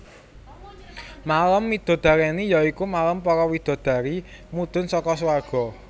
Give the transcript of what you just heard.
Malem midodareni ya iku malem para widadari mudhun saka suwarga